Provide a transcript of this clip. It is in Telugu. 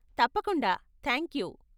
తప్పకుండా, థాంక్యూ.